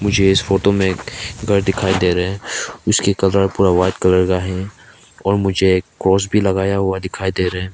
मुझे इस फोटो में एक घर दिखाई दे रहे हैं उसके कलर पूरा व्हाइट कलर का है और मुझे एक क्रॉस भी लगाया हुआ दिखाई दे रहे हैं।